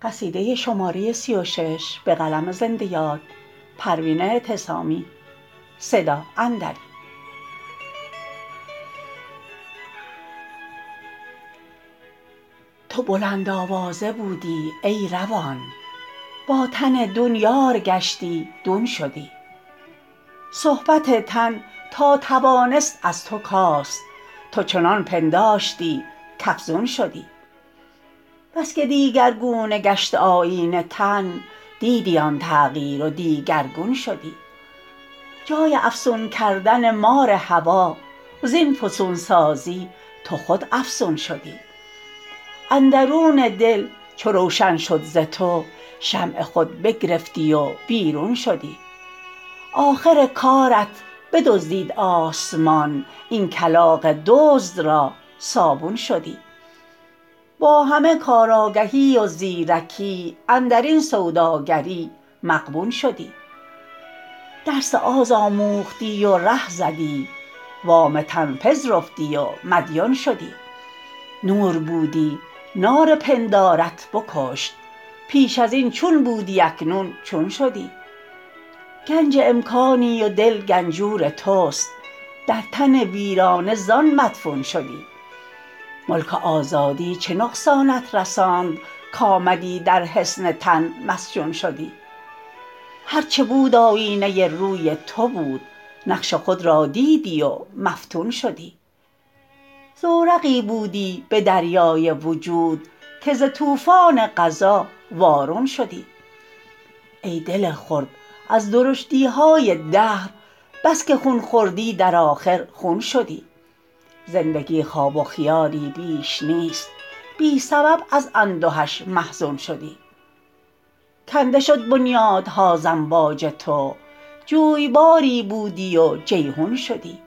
تو بلند آوازه بودی ای روان با تن دون یار گشتی دون شدی صحبت تن تا توانست از تو کاست تو چنان پنداشتی کافزون شدی بسکه دیگرگونه گشت آیین تن دیدی آن تغییر و دیگرگون شدی جای افسون کردن مار هوی زین فسونسازی تو خود افسون شدی اندرون دل چو روشن شد ز تو شمع خود بگرفتی و بیرون شدی آخر کارت بدزدید آسمان این کلاغ دزد را صابون شدی با همه کار آگهی و زیر کی اندرین سوداگری مغبون شدی درس آز آموختی و ره زدی وام تن پذرفتی و مدیون شدی نور بودی نار پندارت بکشت پیش از این چون بودی اکنون چون شدی گنج امکانی و دل گنجور تست در تن ویرانه زان مدفون شدی ملک آزادی چه نقصانت رساند کامدی در حصن تن مسجون شدی هر چه بود آیینه روی تو بود نقش خود را دیدی و مفتون شدی زورقی بودی بدریای وجود که ز طوفان قضا وارون شدی ای دل خرد از درشتیهای دهر بسکه خون خوردی در آخر خون شدی زندگی خواب و خیالی بیش نیست بی سبب از اندهش محزون شدی کنده شد بنیادها ز امواج تو جویباری بودی و جیحون شدی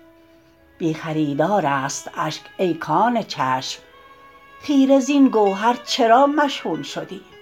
بی خریدار است اشک ای کان چشم خیره زین گوهر چرا مشحون شدی